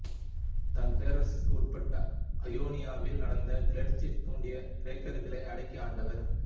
தன் பேரரசுக்குட்பட்ட ஐயோனியாவில் நடந்த கிளர்ச்சியை தூண்டிய கிரேக்கர்களை அடக்கி ஆண்டவர்